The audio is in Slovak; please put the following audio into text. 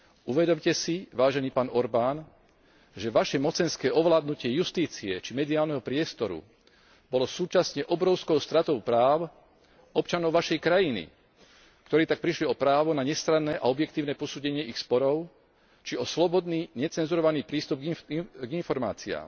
Uvedomte si, vážený pán Orbán, že vaše mocenské ovládnutie justície či mediálneho priestoru bolo súčasne obrovskou stratou práv občanov vašej krajiny, ktorí tak prišli o právo na nestranné a objektívne posúdenie ich sporov či o slobodný, necenzurovaný prístup k informáciám.